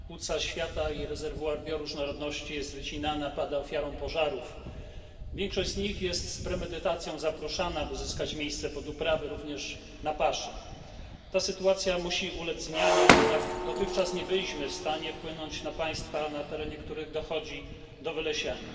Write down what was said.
Pani Przewodnicząca! Amazonia płuca świata i rezerwuar bioróżnorodności jest wycinana, pada ofiarą pożarów. Większość z nich jest z premedytacją zaprószana, by zyskać miejsce pod uprawy, również paszowe. Ta sytuacja musi ulec zmianie. Jednak dotychczas nie byliśmy w stanie wpłynąć na państwa, na terenie których dochodzi do wylesiania.